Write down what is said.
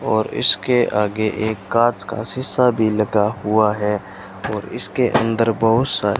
और इसके आगे एक कांच का शीशा भी लगा हुआ है और इसके अंदर बहोत सारे --